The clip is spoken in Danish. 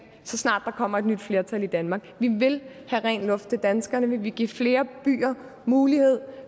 så snart der kommer et nyt flertal i danmark vi vil have ren luft til danskerne vi vil give flere byer mulighed